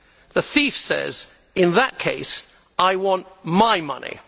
The thief says in that case, I want my money!